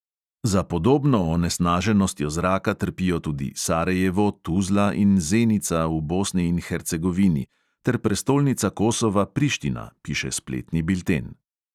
Za podobno onesnaženostjo zraka trpijo tudi sarajevo, tuzla in zenica v bosni in hercegovini ter prestolnica kosova priština, piše spletni bilten.